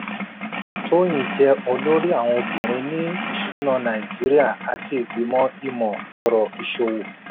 tóyìn jẹ́ olórí àwọn obìnrin ní ìṣúná nàìjíríà àti ìgbìmọ̀ imọ̀-ọ̀rọ̀ ìṣòwò.